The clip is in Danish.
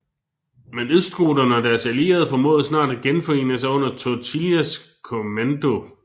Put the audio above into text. Men østgoterne og deres allierede formåede snart at genforene sig under Totilas kommando